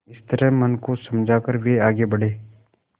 इस तरह मन को समझा कर वे आगे बढ़े